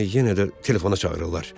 Məni yenə də telefona çağırırlar.